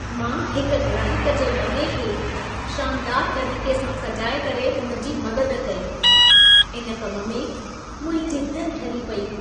मां हिकु ग्राहक जे वॻे खे शानदार तरीक़े सां सजाए करे हुन जी मदद कई। इन कम में मुंहिंजी दिलि ठरी पेई।